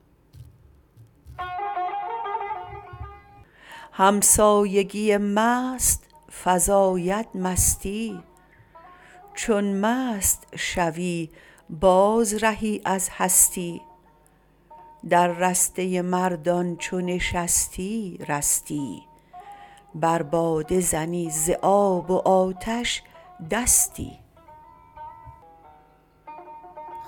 همسایگی مست فزاید مستی چون مست شوی باز رهی از هستی در رسته مردان چو نشستی رستی بر باده زنی ز آب و آتش دستی